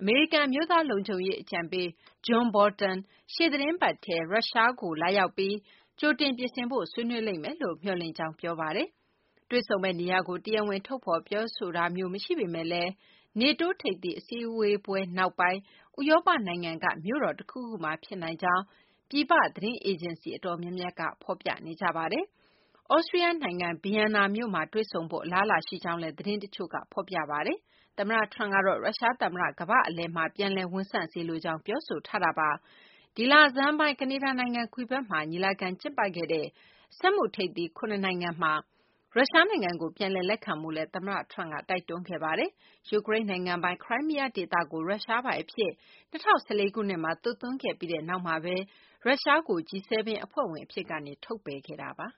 အမေရိကန် အမျိုးသားလုံခြုံရေးအကြံပေး John Bolton ရှေ့သီတင်းပတ်ထဲ ရုရှားနိုင်ငံကို လာရောက်ပြီး ကြိုတင်ပြင်ဆင်ဖို့ ဆွေးနွေးလိမ့်မယ်လို့ မျှော်လင့်ကြောင်း ပြောဆိုခဲ့ပါတယ်။ တေ့ွဆုံမယ့်နေရာကို တရားဝင်ထုတ်ဖော် ပြောဆိုတာမျိုး မရှိပေမဲ့လည်း NATO ထိပ်သီးအစည်းအဝေးပွဲနောက်ပိုင်း ဥရောပနိုင်ငံက မြို့တော်တခုခုမှာ ဖြစ်နိုင်ကြောင်း ပြည်ပသတင်းအေဂျင်စီ တော်တော်များများက ဖော်ပြနေကြတာပါ။ သြစတြီးယားနိုင်ငံ ဗီယမ်နာမြို့မှာ တွေ့ဆုံဖို့ အလားအလာ ရှိကြောင်းလည်း သတင်းတချို့က ဖော်ပြနေပါတယ်။ သမ္မတ Trump ကတော့ ရုရှားသမ္မတ ကမ္ဘာ့အလယ်မှာ ပြန်လည်ဝန်ဆန့်စေလိုကြောင်း ပြောဆိုထားတာပါ။ ဒီလဆန်းပိုင်း ကနေဒါနိုင်ငံ Quebec မှာ ညီလာခံ ကျင်းပခဲ့တဲ့ စက်မှုထိပ်သီး ၇ နိုင်ငံ (G-7) မှာ ရုရှားနိုင်ငံကို ပြန်လည်လက်ခံဖို့လည်း သမ္မတ Trump ကတိုက်တွန်းခဲ့ပါတယ်။ ယူကရိန်းနိုင်ငံပိုင် ခရိုင်းမီးယားဒေသကို ရုရှားပိုင်အဖြစ် ၂၀၁၄ ခုနှစ်မှာ သွတ်သွင်းခဲ့ပြီးနောက်မှာပဲ ရုရှားကို G-7 အဖွဲ့ဝင် အဖြစ်ကနေ ထုတ်ပယ်ခဲ့တာပါ။